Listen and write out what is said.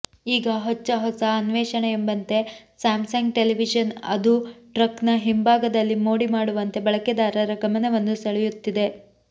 ಈಗ ಹೊಚ್ಚ ಹೊಸ ಅನ್ವೇಷಣೆ ಎಂಬಂತೆ ಸ್ಯಾಮ್ಸಂಗ್ ಟೆಲಿವಿಶನ್ ಅದೂ ಟ್ರಕ್ನ ಹಿಂಭಾಗದಲ್ಲಿ ಮೋಡಿ ಮಾಡುವಂತೆ ಬಳಕೆದಾರರ ಗಮನವನ್ನು ಸೆಳೆಯುತ್ತಿದೆ